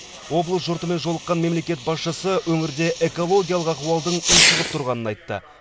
облыс жұртымен жолыққан мемлекет басшысы өңірде экологиялық ахуалдың ушығып тұрғанын айтты